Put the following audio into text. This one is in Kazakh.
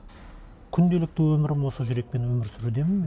күнделікті өмірім осы жүрекпен өмір сүрудемін